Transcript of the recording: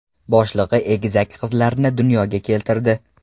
boshlig‘i egizak qizlarni dunyoga keltirdi.